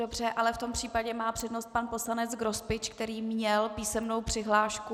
Dobře, ale v tom případě má přednost pan poslanec Grospič, který měl písemnou přihlášku.